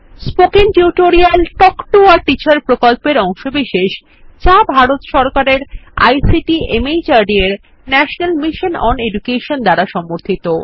spoken tutorial talk to a teacher প্রকল্পের অংশবিশেষ যা ভারত সরকারের আইসিটি মাহর্দ এর ন্যাশনাল মিশন ওন এডুকেশন দ্বারা সমর্থিত